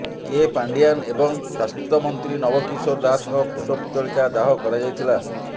କେ ପାଣ୍ଡିଆନ୍ ଓ ସ୍ୱାସ୍ଥ୍ୟମନ୍ତ୍ରୀ ନବ କିଶୋର ଦାସଙ୍କ କୁଶପୁତ୍ତଳିକା ଦାହ କରାଯାଇଥିଲା